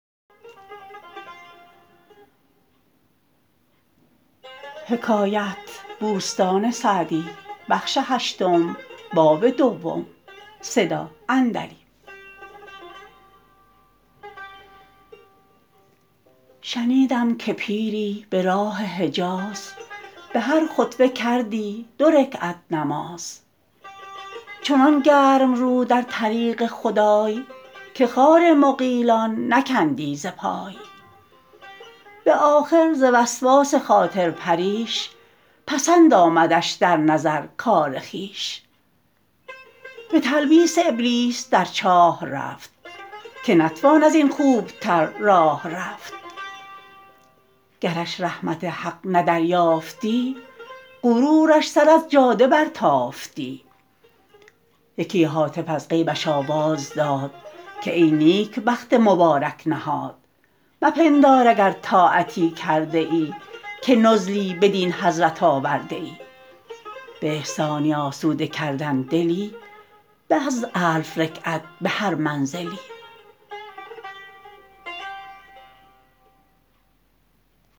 شنیدم که پیری به راه حجاز به هر خطوه کردی دو رکعت نماز چنان گرم رو در طریق خدای که خار مغیلان نکندی ز پای به آخر ز وسواس خاطر پریش پسند آمدش در نظر کار خویش به تلبیس ابلیس در چاه رفت که نتوان از این خوب تر راه رفت گرش رحمت حق نه دریافتی غرورش سر از جاده برتافتی یکی هاتف از غیبش آواز داد که ای نیکبخت مبارک نهاد مپندار اگر طاعتی کرده ای که نزلی بدین حضرت آورده ای به احسانی آسوده کردن دلی به از الف رکعت به هر منزلی